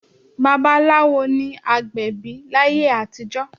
Babaláwo ni agbẹ̀bí láyé àtijọ́